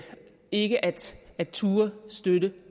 ikke at at turde støtte